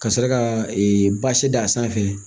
Ka sɔrɔ ka basi da sanfɛ